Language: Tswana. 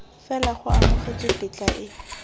fela go amogetswe tetla e